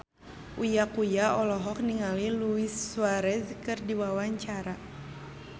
Uya Kuya olohok ningali Luis Suarez keur diwawancara